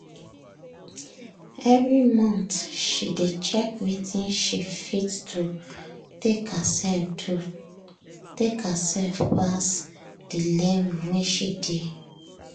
every month she dey check wetin she fit do take herself do take herself pass the level wey she dey.